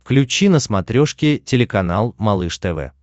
включи на смотрешке телеканал малыш тв